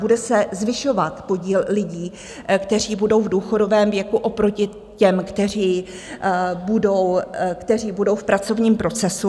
Bude se zvyšovat podíl lidí, kteří budou v důchodovém věku, oproti těm, kteří budou v pracovním procesu.